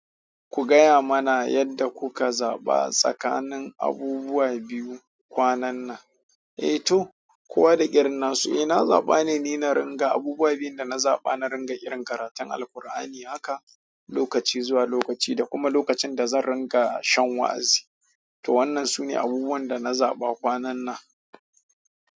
Ku gaya mana yadda kuka zaɓa tsakanin abubuwa biyu kwanan nan. Eh to, kowa da irinnasu, eh na zaɓa ne ni na ringa abubuwa biyu da na zaɓa na ringa yi irin karatun Alkur'ani haka lokaci zuwa lokaci da kuma lokacin da zan ringa shan wa'azi. To wannan sune abubuwan da na zaɓa kwanan nan.